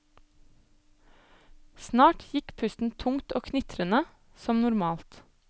Snart gikk pusten tungt og knitrende, som normalt.